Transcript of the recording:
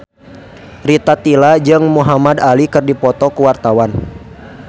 Rita Tila jeung Muhamad Ali keur dipoto ku wartawan